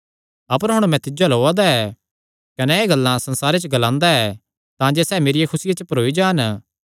अपर हुण मैं तिज्जो अल्ल ओआ दा ऐ कने एह़ गल्लां संसारे च ग्लांदा ऐ तांजे सैह़ मेरी खुसिया च भरोई जान